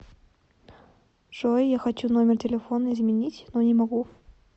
джой я хочу номер телефона изменить но не могу